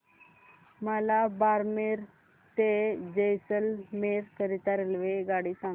मला बारमेर ते जैसलमेर करीता रेल्वेगाडी सांगा